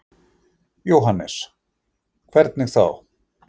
Jóhannes: Hvernig þá?